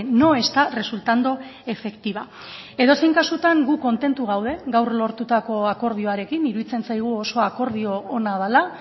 no está resultando efectiva edozein kasutan gu kontentu gaude gaur lortutako akordioarekin iruditzen zaigu oso akordio ona dela